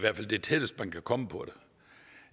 det tætteste man kan komme på